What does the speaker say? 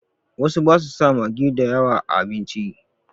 Wasu ba su sa magi da yawa a abinci.